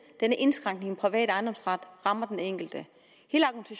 denne indskrænkning i den private ejendomsret rammer den enkelte at